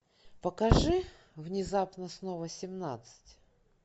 покажи внезапно снова семнадцать